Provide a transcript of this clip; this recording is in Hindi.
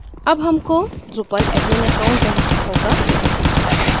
अब हमको drupal admin account बनाना होगा